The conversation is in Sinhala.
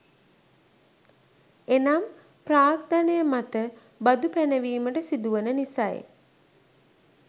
එනම් ප්‍රාග්ධනය මත බදු පැනවීමට සිදුවන නිසයි.